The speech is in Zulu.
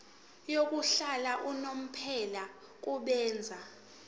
yokuhlala unomphela kubenzi